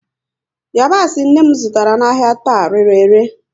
Yabasị nne m zụtara n'ahia taa, rere ele